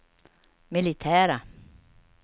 militära